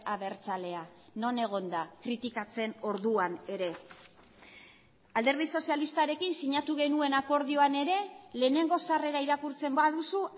abertzalea non egon da kritikatzen orduan ere alderdi sozialistarekin sinatu genuen akordioan ere lehenengo sarrera irakurtzen baduzu